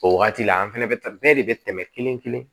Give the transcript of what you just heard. O wagati la an fɛnɛ bɛ taa bɛɛ de be tɛmɛ kelen kelen